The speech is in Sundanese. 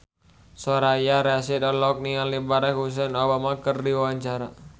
Soraya Rasyid olohok ningali Barack Hussein Obama keur diwawancara